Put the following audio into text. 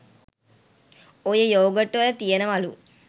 ඔය යෝගට් වල තියනවලු